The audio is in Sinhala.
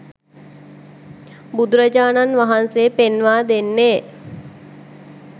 බුදුරජාණන් වහන්සේ පෙන්වා දෙන්නේ